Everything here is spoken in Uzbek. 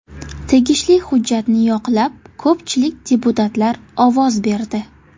Tegishli hujjatni yoqlab ko‘pchilik deputatlar ovoz berdi.